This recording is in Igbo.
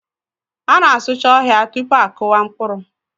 A na-asụcha ọhịa tupu a kụwa mkpụrụ.